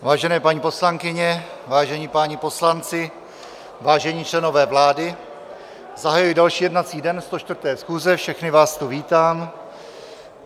Vážené paní poslankyně, vážení páni poslanci, vážení členové vlády, zahajuji další jednací den 104. schůze, všechny vás tu vítám.